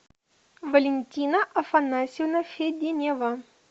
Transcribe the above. валентина афанасьевна феденева